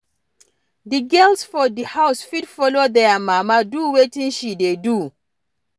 Di girls for di house fit follow their mama do wetin she dey do